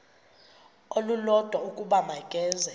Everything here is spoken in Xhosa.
olulodwa ukuba makeze